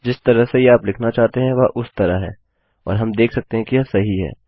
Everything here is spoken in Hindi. जिस तरह से यह आप लिखना चाहते हैं वह उस तरह है और हम देख सकते हैं कि यह सही है